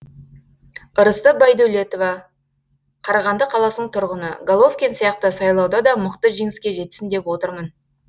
ырысты байдәулетова қарағанды қаласының тұрғыны головкин сияқты сайлауда да мықты жеңіске жетсін деп отырмын